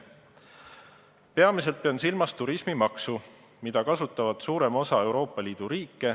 Ma pean peamiselt silmas turismimaksu, mida kasutab suurem osa Euroopa Liidu riike.